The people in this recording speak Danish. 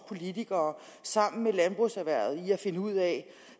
politikere sammen med landbrugserhvervet i at finde ud af